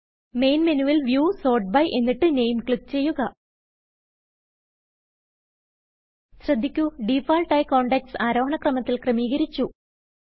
main മെനുവിൽ view sort by name നാമെ ക്ലിക്ക് ചെയ്യുക ശ്രദ്ധിക്കു ഡിഫാൾട്ട് ആയി കോണ്ടാക്ട്സ് ആരോഹണ ക്രമത്തിൽ ക്രമീകരിച്ചു